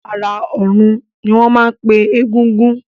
Ará ọ̀run ni wọ́n máa ń pe egúngún